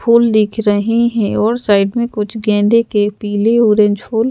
फूल दिख रहे हैं और साइड में कुछ गेंदे के पीले ऑरेंज फुल--